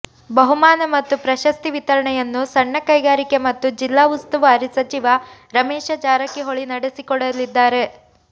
ಬಹುಮಾನ ಮತ್ತು ಪ್ರಶಸ್ತಿ ವಿತರಣೆಯನ್ನು ಸಣ್ಣ ಕೈಗಾರಿಕೆ ಮತ್ತು ಜಿಲ್ಲಾ ಉಸ್ತುವಾರಿ ಸಚಿವ ರಮೇಶ ಜಾರಕಿಹೊಳಿ ನಡೆಸಿಕೊಡಲಿದ್ದಾರೆ